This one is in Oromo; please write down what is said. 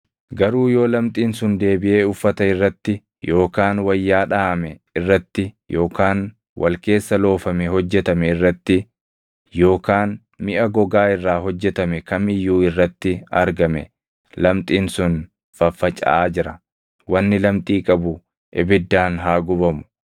Garuu yoo lamxiin sun deebiʼee uffata irratti yookaan wayyaa dhaʼame irratti yookaan wal keessa loofame hojjetame irratti yookaan miʼa gogaa irraa hojjetame kam iyyuu irratti argame, lamxiin sun faffacaʼaa jira; wanni lamxii qabu ibiddaan haa gubamu.